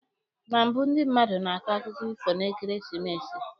Na mbụ ndị mmadụ na-akọ akụkọ ifo n'ekeresimesi.